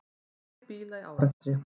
Tugir bíla í árekstri